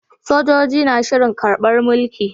Sojoji na shirin karbar mulki